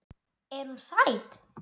Er hún sæt?